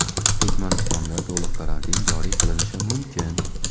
Turkmanistonda to‘liq karantin joriy qilinishi mumkin.